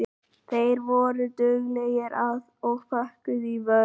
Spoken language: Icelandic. Þær voru duglegar og pökkuðu í vörn.